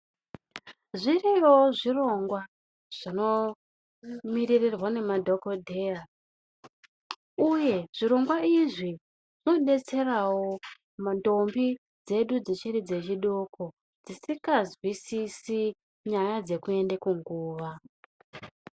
Zviriyo zvirongwa zvinomiririrwa nemadhokodheya uye zvirongwa izvi zvinodetserawo ndombi dzechidoko dzisinganzwisisi nyaya dzekuenda kunguwa.